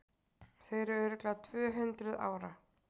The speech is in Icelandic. Þau eru örugglega TVÖ-HUNDRUÐ ÁRA!